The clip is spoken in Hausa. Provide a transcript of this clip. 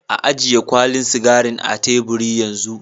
Ayiye kwalin sigarin a tebur yan zun.